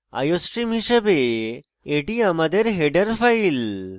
iostream হিসাবে এটি আমাদের header file